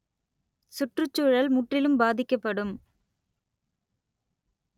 சுற்றுச்சூழல் முற்றிலும் பாதிக்கப்படும்